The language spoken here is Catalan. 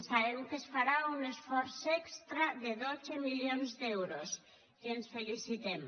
sabem que es farà un esforç extra de dotze milions d’euros i ens en felicitem